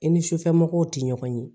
I ni sufɛmɔgɔw tɛ ɲɔgɔn ye